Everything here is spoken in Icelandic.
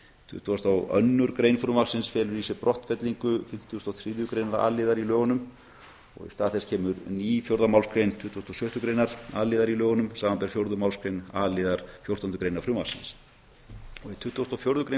tuttugasta og önnur grein frumvarpsins felur í sér brottfellingu fimmtugustu og þriðju greinar a liðar í lögunum og í stað þess kemur ný fjórða málsgrein tuttugustu og sjöttu greinar a liðar í lögunum samanber fjórðu málsgrein a liðar fjórtándu greinar frumvarpsins í tuttugustu og fjórðu grein